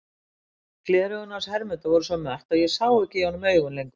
Gleraugun hans Hermundar voru svo mött að ég sá ekki í honum augun lengur.